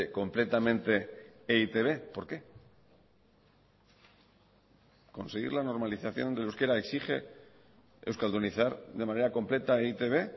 completamente e i te be por qué conseguir la normalización del euskera exige euskaldunizar de manera completa e i te be